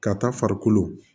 Ka taa farikolo